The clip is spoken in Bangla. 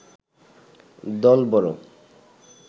দল বড়